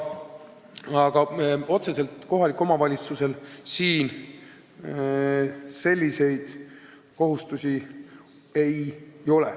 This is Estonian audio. Aga otseselt kohalikul omavalitsusel siin selliseid kohustusi ei ole.